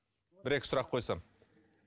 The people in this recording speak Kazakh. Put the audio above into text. бір екі сұрақ қойсам